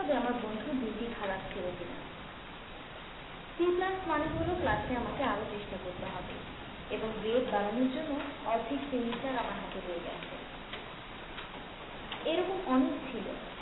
বন্ধুর দিন টি খারাপ ছিল কি না? c plus মানে হল class এ আমাকে আরো চেষ্টা করতে হবে। এবং grade বাড়ানোর জন্য অর্ধেক semester আমার হাতে রয়ে গেছে। এরকম অনেক ছিল।